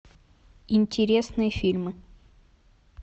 интересные фильмы